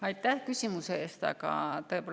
Aitäh küsimuse eest!